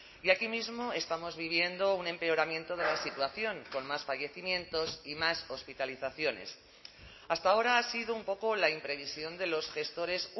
y aquí mismo estamos viviendo un empeoramiento de la situación con más fallecimientos y más hospitalizaciones hasta ahora ha sido un poco la imprevisión de los gestores